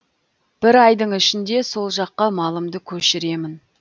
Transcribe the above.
бір айдың ішінде сол жаққа малымды көшіремін